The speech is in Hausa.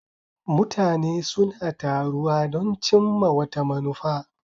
Mutane suna taruwa don cimma wata manufa.